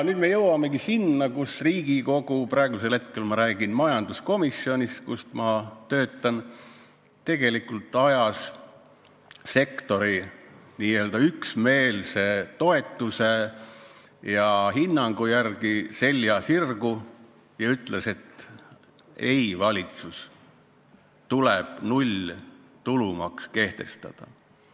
Nüüd me jõuamegi selleni, et Riigikogu – ma pean praegu silmas majanduskomisjoni, kus ma töötan – ajas sektori üksmeelse toetuse ja seisukoha peale selja sirgu ja ütles: "Ei, valitsus, tuleb nulltulumaks kehtestada.